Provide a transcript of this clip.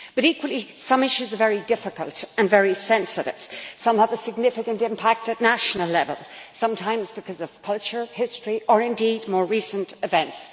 But, equally, some issues are very difficult and very sensitive. Some have a significant impact at national level sometimes because of culture, history or more recent events.